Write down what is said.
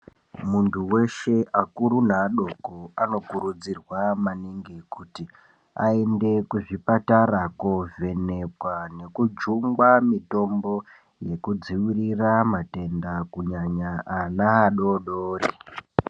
Muntu weshe akuru neadoko anokurudzirwa maningi kuti aende kuzvipatara kovhenekwa nekujungwa mitombo yekudziirira matenda kunyanya-nyanya ana adodori.